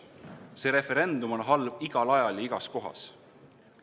See referendum on halb igal ajal ja igas kohas.